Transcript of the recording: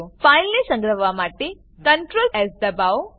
ફાઈલને સંગ્રહવા માટે CtrlS દબાવો